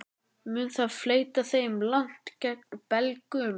Mun það fleyta þeim langt gegn Belgum?